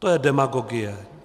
To je demagogie.